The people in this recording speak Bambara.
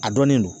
A dɔnnen don